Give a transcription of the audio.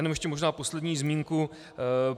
Jenom ještě možná poslední zmínku.